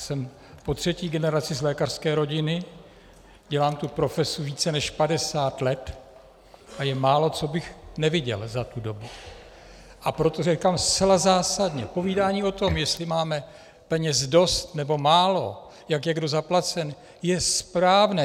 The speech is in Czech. Jsem po třetí generaci z lékařské rodiny, dělám tu profesi více než 50 let a je málo, co bych neviděl za tu dobu, a proto říkám zcela zásadně: Povídání o tom, jestli máme peněz dost, nebo málo, jak je kdo zaplacen, je správné.